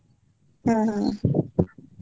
ಹ ಹ.